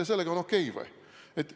Kas sellega on siis okei või?